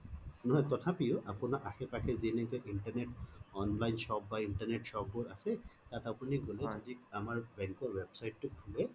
নহয় তথাপিও আপোনাৰ আশে পাশে যি নেকি internet online shop বা internet shop বোৰ আছে তাত আপুনি গলে যদি আমাৰ bank ৰ website টো খোলে